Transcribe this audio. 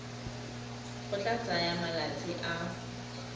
go tla tsaya malatsi a